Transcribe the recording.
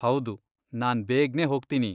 ಹೌದು, ನಾನ್ ಬೇಗ್ನೇ ಹೋಗ್ತೀನಿ.